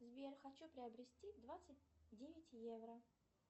сбер хочу приобрести двадцать девять евро